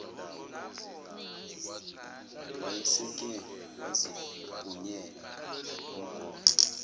wayeseke wazibhunyela ngomgqomo